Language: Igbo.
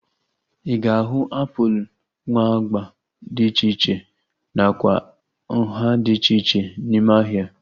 Ị ga-ahu apụl nwe agba dị iche iche nakwa nhá dị iche iche n'ime ahịa